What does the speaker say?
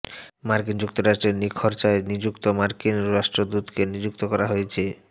মার্কিন যুক্তরাষ্ট্রে নিখরচায় নিযুক্ত মার্কিন রাষ্ট্রদূতকে নিযুক্ত করা হয়েছে